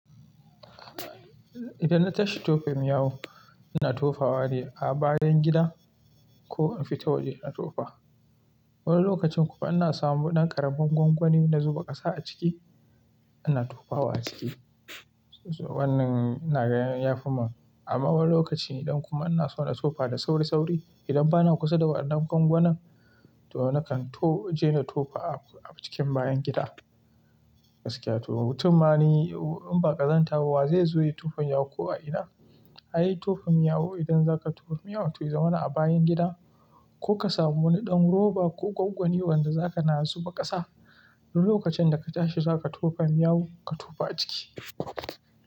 Idan na tashi tofa miyawu, ina tofa ne a bayan gida ko in fita waje in tofa. Wani lokacin kuma ana samu ɗan ƙaramin gwangwani na zuba ƙasa a ciki, ana tofa wa a ciki. Wannan ina ganin ya fi ma amma wani lokaci idan kuma ana so na tofa da sauri sauri. Idan bana kusa da waɗannan gwangwanan, to nakan je na tofa a cikin bayan gida. Gaskiya to, mutum ma ni ba ƙazanta ba wa zai zo ya tufa yawu ko a ina? Ai tofa yawu idan za ka tofa yawu to ya zama na a bayan gida ko ka samu wani ɗan roba ko gwangwani wanda za ka na zuba ƙasa. Wani lokacin da ka tashi za ka tofa miyagu, ka tofa a ciki.